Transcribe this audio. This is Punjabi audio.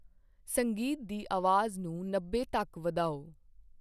ਸੰਗੀਤ ਦੀ ਆਵਾਜ਼ ਨੂੰ ਨੱਬੇ ਤੱਕ ਵਧਾਓ।